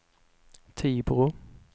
Tibro